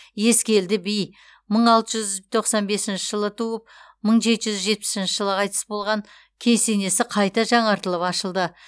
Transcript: ескелді би мың алты жүз тоқсан бесінші жылы туып мың жеті жүз жетпісінші жылы қайтыс болған кесенесі қайта жаңартылып ашылды